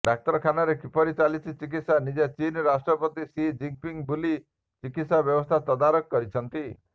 ଡାକ୍ତରଖାନାରେ କିପରି ଚାଲିଛି ଚିକିତ୍ସା ନିଜେ ଚୀନ ରାଷ୍ଟ୍ରପତି ସି ଜିନପିଙ୍ଗ୍ ବୁଲି ଚିକିତ୍ସା ବ୍ୟବସ୍ଥା ତଦାରଖ କରିଛନ୍ତି